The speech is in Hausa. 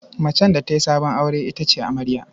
Macen da ta yi sabon aure ita ce amarya.